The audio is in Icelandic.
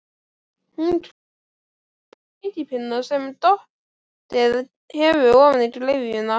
Hún krakki með sleikipinna sem dottið hefur ofan í gryfjuna.